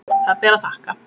Það ber að þakka.